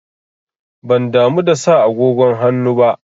Ban damu da sa agogon hannu ba.